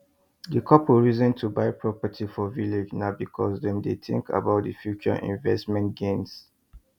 the couple reason to buy property for village na because dem dey think about the future investment gains